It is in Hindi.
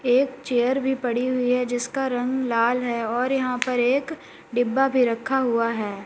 एक चेयर भी पड़ी हुई हैं जिसका रंग लाल है और यहां पे एक डिब्बा भी रखा हुआ हैं।